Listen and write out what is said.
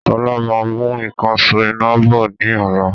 Sọlá máa mú ìkansò iná bọ̀ ni ọ̀la